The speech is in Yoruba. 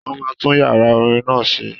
Wọ́n máa tún yàrá orin náà ṣe